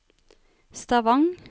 Stavang